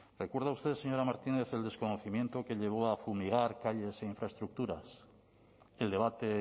recuerda usted señora martínez el desconocimiento que llevó a fumigar calles e infraestructuras el debate